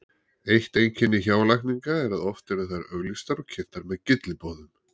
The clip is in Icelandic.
Eitt einkenni hjálækninga er að oft eru þær auglýstar og kynntar með gylliboðum.